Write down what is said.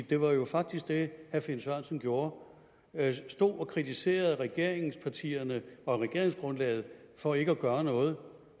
det var jo faktisk det herre finn sørensen gjorde han stod og kritiserede regeringspartierne for regeringsgrundlaget og for ikke at gøre noget